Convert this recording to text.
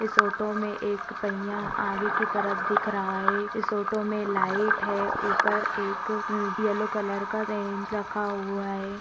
इस ऑटो मे एक पहिया आगे की तरफ दिख रहा है इस ऑटो मे लाइट है ऊपर एक येलो कलर का स्टैन्ड रखा हुआ है।